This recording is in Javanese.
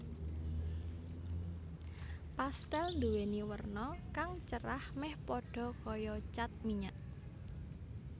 Pastèl nduwéni werna kang cerah méh padha kaya cat minyak